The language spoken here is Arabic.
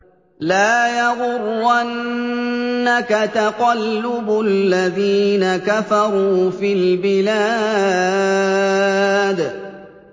لَا يَغُرَّنَّكَ تَقَلُّبُ الَّذِينَ كَفَرُوا فِي الْبِلَادِ